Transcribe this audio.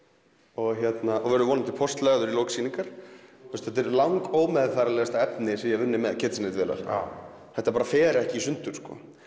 og verður vonandi póstlagður í lok sýningar þetta er lang efni sem ég hef unnið með Kitchenaid vélar þetta bara fer ekki í sundur